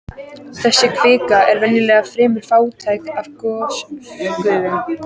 Þessi kvika er venjulega fremur fátæk af gosgufum.